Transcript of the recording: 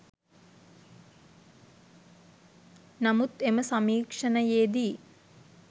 නමුත් එම සමීක්ෂණයේ දී